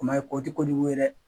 Kuma ye ko ti ko jugu ye dɛ